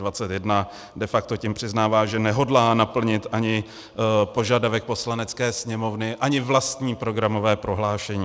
De facto tím přiznává, že nehodlá naplnit ani požadavek Poslanecké sněmovny, ani vlastní programové prohlášení.